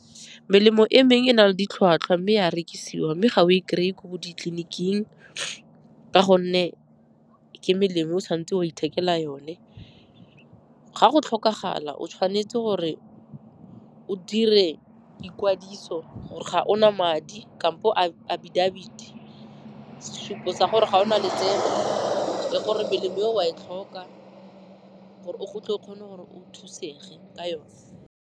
Melemo e meng e na le ditlhwatlhwa mme e a rekisiwa, mme ga o e kry-e ko ditleliniking ka gonne ke melemo o tshwan'tse wa ithekela yone. Ga go tlhokagala, o tshwanetse gore o dire ikwadiso gore ga ona madi kampo abidabiti, sesupo sa gore ga o na letseno le gore melemo eo wa e tlhoka gore go tle o kgone gore o thusege ka yone.